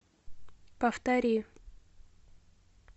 повтори